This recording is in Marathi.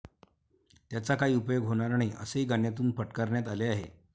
त्याचा काही उपयोग होणार नाही, असेही गाण्यातून फटकारण्यात आले आहे.